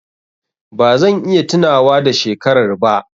Ba zan iya tunawa da shekarar ba.